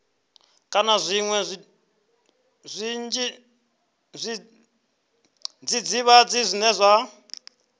kana zwiṅwe zwidzidzivhadzi zwine zwa